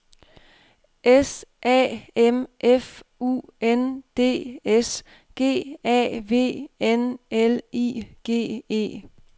S A M F U N D S G A V N L I G E